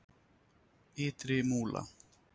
Ytri Múla